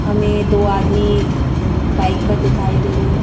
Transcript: हमें दो आदमी बाइक पर दिखाई दे रहे हैं।